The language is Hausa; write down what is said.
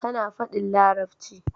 Tana fadin larabci